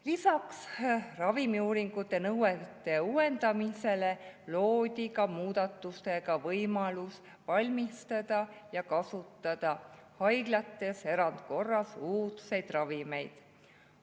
Lisaks ravimiuuringute nõuete uuendamisele loodi muudatusega ka võimalus valmistada ja kasutada haiglates erandkorras uudseid ravimeid.